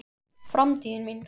Framtíðin mín?